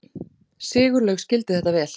Sigurlaug skildi þetta vel.